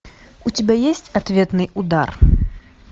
у тебя есть ответный удар